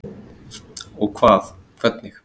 Og hvað. hvernig?